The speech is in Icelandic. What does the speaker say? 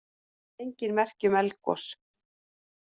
Engin merki um eldgos